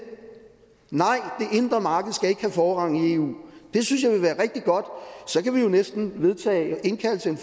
nej det indre marked skal ikke have forrang i eu det synes jeg vil være rigtig godt så kan vi jo næsten indkalde til en